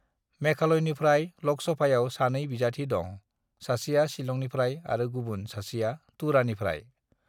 "मेघालयनिफ्राय लोकसभायाव सानै बिजाथि दं, सासेआ शिलंनिफ्राय आरो गुबुन सासेआ तुरानिफ्राय।"